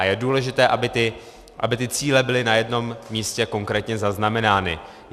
A je důležité, aby ty cíle byly na jednom místě konkrétně zaznamenány.